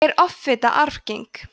er offita arfgeng